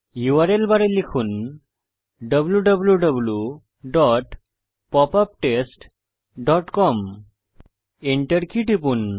URL বারে লিখুন wwwpopuptestcom ENTER key টিপুন